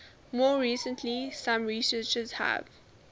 more recently some researchers have